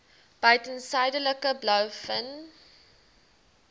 buiten suidelike blouvin